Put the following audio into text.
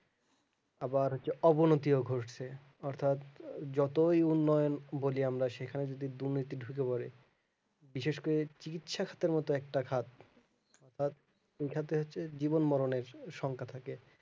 আবার হচ্ছে অবনতিও ঘটছে অর্থাৎ যতই উন্নয়ন বলি আমরা সেখানে যদি দুর্নীতি ঢুকে পরে বিশেষ করে চিকিৎস্বাস্থের মতো ভাব এইখান থেকে হচ্ছে জীবন মরণের শঙ্কা থাকে